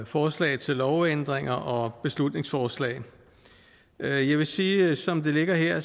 forslag til lovændringer og beslutningsforslag jeg vil sige at som det ligger her